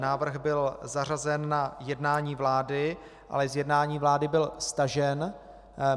Návrh byl zařazen na jednání vlády, ale z jednání vlády byl stažen.